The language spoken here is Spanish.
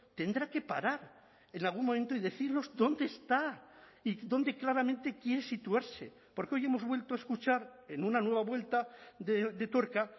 tendrá que parar en algún momento y decirnos dónde está y dónde claramente quiere situarse porque hoy hemos vuelto a escuchar en una nueva vuelta de tuerca